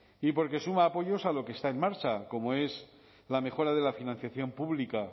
y porque suma apoyos a lo que está en marcha como es la mejora de la financiación pública